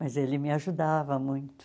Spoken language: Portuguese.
Mas ele me ajudava muito.